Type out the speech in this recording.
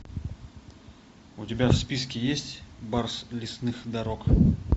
у тебя в списке есть барс лесных дорог